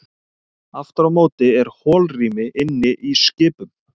Aftur á móti er holrými inni í skipum.